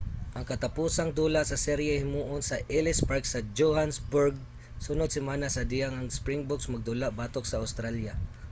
ang katapusang dula sa serye himuon sa ellis park sa johannesburg sunod semana sa dihang ang springboks magdula batok sa australia